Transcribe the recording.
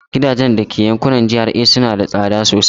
Gidajen da ke yankunan GRA suna da tsada sosai.